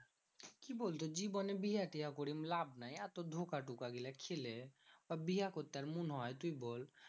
কি বলতো? জীবনে বিহা টিহা করে লাভ নেই। এত ধোঁকা কোটা গেলে খেলে, বিহা করতে আর মুন হয় তুই বল?